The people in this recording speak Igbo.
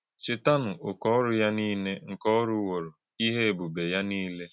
Chètà̄nụ̀ òké̄ ọ́rụ̀ Yà̄ nìlè̄ nké Ọ rù̄wọ̀rò̄, íhè̄ èbùbè̄ Yà̄ nìlè̄.”